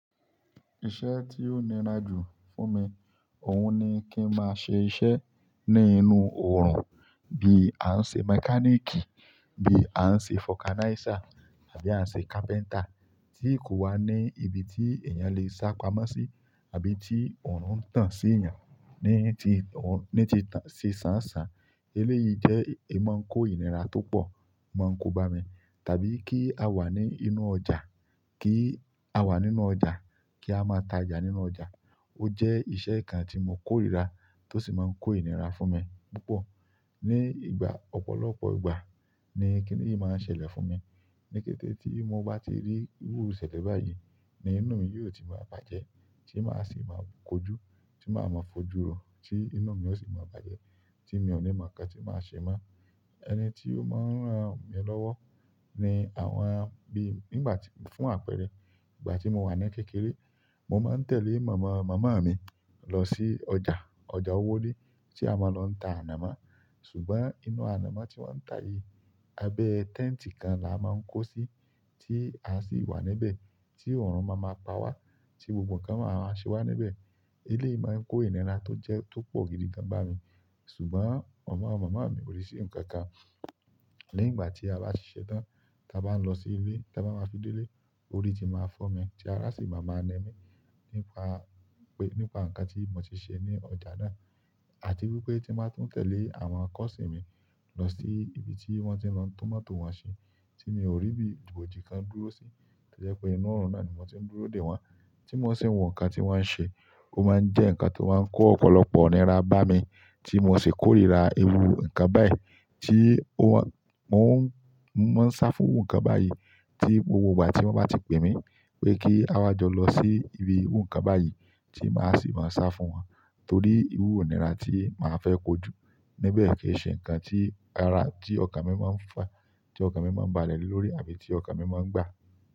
Iṣẹ́ tí o níra jù fún mi, òhun ni kí n máa ṣe iṣẹ́ nínú oòrùn bí a ń ṣe mechanic, bí a ń ṣe focaniza àbí a ń ṣe carpenter, tí kò wá ní ibi tí èèyàn lè sá pamọ́ sí àbí tí oòrùn ń tàn sí èèyàn ní ti ò-- ní ti tàn-- sì ṣàǹsá. Eléyìí jẹ́ ìmọ̀ ń kó ìnira tó pọ̀ n mọ́ ń kó bá mi. Tàbí kí a wà ní inú ọjà, kí a wà nínú ọjà, kí a máa ta ọjà nínú ọjà. Ó jẹ́ iṣẹ́ kan tí mo kórìíra tó sì máa ń kó ìnira fún mi púpọ̀. Ni ìgbà ọ̀pọ̀lọpọ̀ ìgbà ni kíni yìí máa n ṣẹlẹ̀ fún mi. Ni kete ti mo ba ti ri iru ìṣẹ̀lẹ̀ bayi ni inú mi yo ti maa bàjẹ́, ti ma si ma ko ju, ti ma maa f'oju ro, ti inú mi o si ma bàjẹ́, ti mi o ni mo nkan ti ma se mo ẹni tí ó máa ń ràn mí lọ́wọ́ ni àwọn bí nígbà tí-- fún àpẹẹrẹ ìgbà tí mo wà ní kékeré, mo máa ń tẹ̀lé màmá màmá mi lọ sí ọjà, ọjà owode tí a máa lọ ń ta ànàmọ́. Ṣùgbọ́n inú ànàmọ́ tí wọ́n ń ta yìí, abẹ́ tent kan là á máa ń kó sí tí a sì wà níbẹ̀ tí oòrùn máa ma pa wá tí gbogbo nǹkan wa máa ṣe wà níbẹ̀. Eléyìí máa ń kó ìnira tó jẹ tó pọ̀ gidi gan bá mi. Ṣùgbọ́n màmá màmá mi ò i se nǹkan kan. Lẹ́yìn ìgbà tí a bá se tán, táa bá ń lọ sí ilé, táa bá máa fi dé ilé, orí ti máa fọ́ mi tí ara sì máa ma ni mí nípa pé-- nípa nǹkan tí mo ti ṣe ní ọjà náà àti wípé tí n ba tún tẹ̀lé àwọn cousin mi lọ sí ibi tí wọ́n ti lọ ń tún mọ́tò wọn ṣe tí mi ò rí bí ibojì kan dúró sí. To je pé inú oòrùn náà ni mo ti ń dúró dè wọ́n tí mo sì ń wo nǹkan tí wọ́n ń ṣe. Ó máa ń jẹ́ nǹkan tí ó máa ń kó ọ̀pọ̀lọpọ̀ ìnira bá mi tí mo sì kórìíra ewú nǹkan báyìí tí ó wọ́n-- mo n, mo maa ń sá fún iru nǹkan báyìí tí gbogbo ìgbà tí wọ́n bá ti pè mí pé kí a wá jọ lọ sí ibi nǹkan báyìí tí màá sì máa sá fún wọn torí ewú ìnira tí màá fẹ́ kojú níbẹ̀ kì í ṣe ǹkan tí ara-- tí ọkàn mi máa ń fà, tí ọkàn mi máa ń balẹ̀ le lórí àbí tí ọkàn mi máa ń gbà.